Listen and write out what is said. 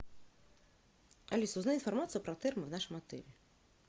алиса узнай информацию про термо в нашем отеле